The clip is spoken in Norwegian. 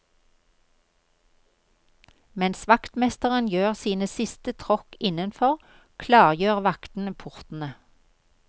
Mens vaktmesteren gjør sine siste tråkk innenfor, klargjør vaktene portene.